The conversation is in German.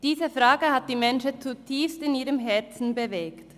«Diese Frage hat die Menschheit zutiefst in ihrem Herzen bewegt».